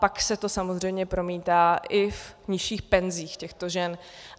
Pak se to samozřejmě promítá i v nižších penzích těchto žen.